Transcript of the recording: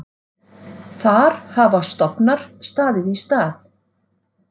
Þar hafa stofnar staðið í stað.